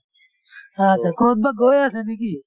আঁচ্ছা কত বা গৈ আছে নে কি?